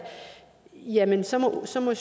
jamen så så må